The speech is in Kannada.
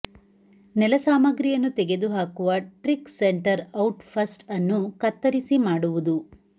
ನೆಲ ಸಾಮಗ್ರಿಯನ್ನು ತೆಗೆದುಹಾಕುವ ಟ್ರಿಕ್ ಸೆಂಟರ್ ಔಟ್ ಫಸ್ಟ್ ಅನ್ನು ಕತ್ತರಿಸಿ ಮಾಡುವುದು